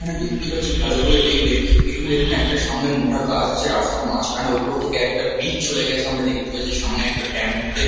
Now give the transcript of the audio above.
আমরা দেখতে পাচ্ছি ভালো করে দেখলে এখানে সামনে একটা মোটা গাছ আছে রাস্তার মাঝখানে ওপর থেকে একটা ব্রিজ চলে গেছে আমরা দেখতে পাচ্ছি সামনে একটা টেম্পো তে --